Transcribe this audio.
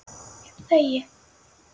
Ég þegi.